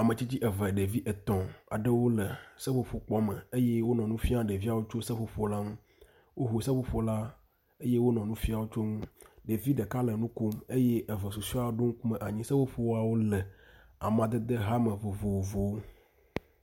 Ametsitsi eve, ɖevi etɔ̃ aɖewo le seƒoƒo kpɔ me eye wonɔ nu fiam ɖeviawo tso seƒoƒo la ŋu. Woŋu seƒoƒo la eye wonɔ nu fiam wo tso ŋu. Ɖevi ɖeka le nu kom eye eve susɔeawo ɖo ŋkume anyi. Seƒoƒoawo le amadede ha me vovovowo.